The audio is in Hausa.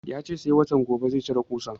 Ya ce sai watan gobe zai cire ƙusan